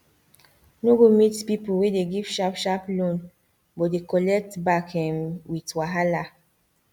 no go meet people wey dey give sharp sharp loan but dey collect back um with wahala